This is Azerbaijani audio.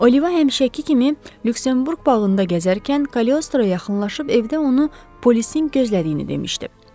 Oliva həmişəki kimi Lüksemburq bağında gəzərkən Kaliostroya yaxınlaşıb evdə onu polisin gözlədiyini demişdi.